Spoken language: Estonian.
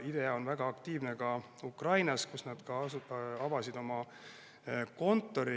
IDEA on väga aktiivne ka Ukrainas, kus nad avasid oma kontori.